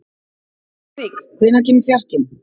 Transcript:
Lúðvík, hvenær kemur fjarkinn?